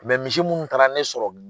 misi munnu taara ne sɔrɔ